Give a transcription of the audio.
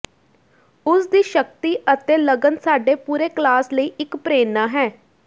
ਉਸ ਦੀ ਸ਼ਕਤੀ ਅਤੇ ਲਗਨ ਸਾਡੇ ਪੂਰੇ ਕਲਾਸ ਲਈ ਇੱਕ ਪ੍ਰੇਰਨਾ ਹੈ